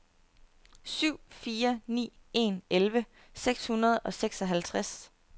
syv fire ni en elleve seks hundrede og seksoghalvtreds